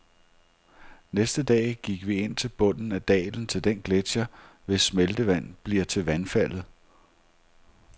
Næste dag gik vi ind til bunden af dalen til den gletcher, hvis smeltevand bliver til vandfaldet.